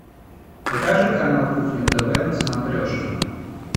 покажи канал кухня тв на смотрешке